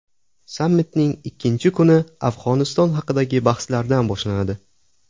Sammitning ikkinchi kuni Afg‘oniston haqidagi bahslardan boshlanadi.